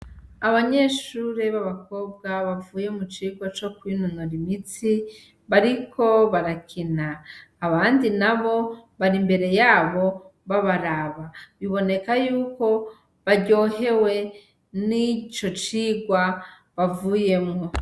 Abanyeshure b' abakobwa bavuye mu cigwa co kwinonora imitsi bariko barakina abandi nabo bari imbere yabo babaraba biboneka yuko baryohewe n' ico cigwa bavuyemwo.